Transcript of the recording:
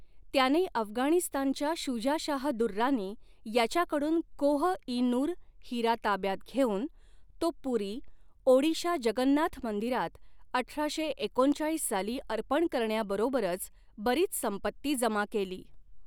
त्याने अफगाणिस्तानच्या शुजा शाह दुर्रानी याच्याकडून कोह इ नूर हिरा ताब्यात घेऊन तो पुरी, ओडिशा जगन्नाथ मंदिरात अठराशे एकोणचाळीस साली अर्पण करण्याबरोबरच, बरीच संपत्ती जमा केली.